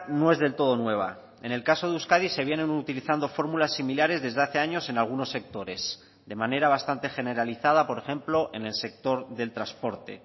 no es del todo nueva en el caso de euskadi se vienen utilizando fórmulas similares desde hace años en algunos sectores de manera bastante generalizada por ejemplo en el sector del transporte